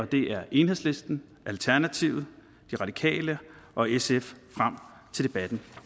det er enhedslisten alternativet de radikale og sf frem til debatten